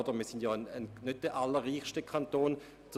Bern ist ja nicht der reichste Kanton der Schweiz.